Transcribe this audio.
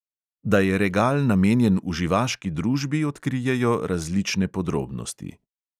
Da je regal namenjen uživaški družbi, odkrijejo različne podrobnosti.